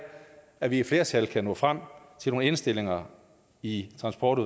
at vi et flertal kan nå frem til nogle indstillinger i transport